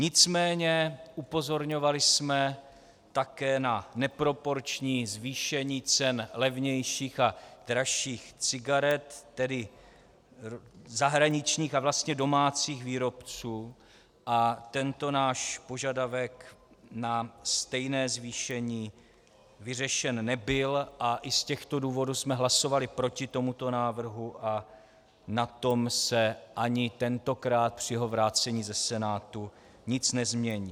Nicméně upozorňovali jsme také na neproporční zvýšení cen levnějších a dražších cigaret, tedy zahraničních a vlastně domácích výrobců, a tento náš požadavek na stejné zvýšení vyřešen nebyl a i z těchto důvodů jsme hlasovali proti tomuto návrhu a na tom se ani tentokrát při jeho vrácení ze Senátu nic nezmění.